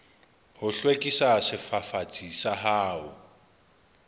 ho hlwekisa sefafatsi sa hao